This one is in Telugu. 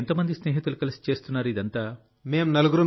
మీరు ఎంత మంది స్నేహితులు కలిసి చేస్తున్నారు ఇదంతా